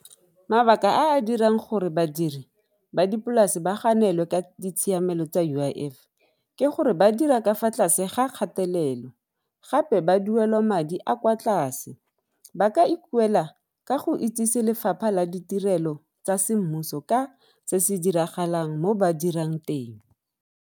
Mabaka a a dirang gore badiri ba dipolase ba ganelwe ka ditshiamelo tsa U_I_F ke gore ba dira ka fa tlase ga kgatelelo, gape ba duelwa madi a kwa tlase. Ba ka ipuela ka go itsise lefapha la ditirelo tsa semmuso ka se se diragalang mo ba dirang teng.